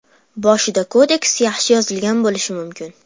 Boshida kodeks yaxshi yozilgan bo‘lishi mumkin.